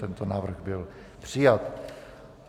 Tento návrh byl přijat.